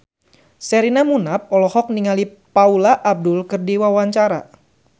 Sherina Munaf olohok ningali Paula Abdul keur diwawancara